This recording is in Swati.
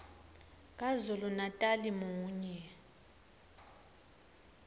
kazulu natali munye